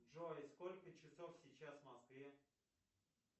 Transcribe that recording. джой сколько часов сейчас в москве